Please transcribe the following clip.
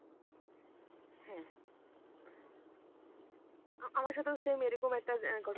হ্যাঁ আমার সাথেও same এরকম একটা ঘটনা.